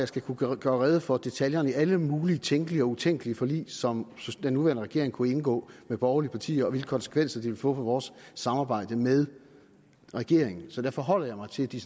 skal kunne gøre rede for detaljerne i alle mulige tænkelige og utænkelige forlig som den nuværende regering kunne indgå med borgerlige partier og hvilke konsekvenser det ville få for vores samarbejde med regeringen så derfor holder jeg mig til de